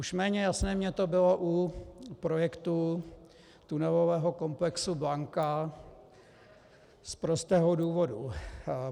Už méně jasné mně to bylo u projektu tunelového komplexu Blanka z prostého důvodu.